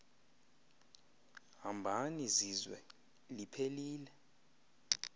hambani zizwe liphelil